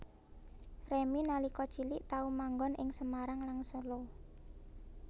Remy nalika cilik tau manggon ing Semarang lan Solo